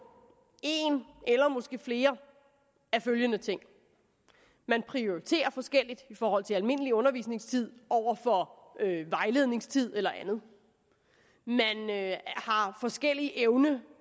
en eller måske flere af følgende ting man prioriterer forskelligt i forhold til almindelig undervisningstid over for vejledningstid eller andet man har forskellig evne